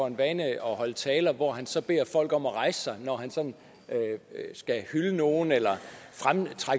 en vane at holde taler hvor han så beder folk om at rejse sig når han sådan skal hylde nogen eller fremhæve